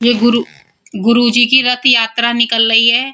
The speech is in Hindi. ये गुरु गुरुजी की रथ यात्रा निकाल रही है।